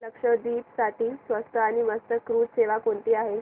लक्षद्वीप साठी स्वस्त आणि मस्त क्रुझ सेवा कोणती आहे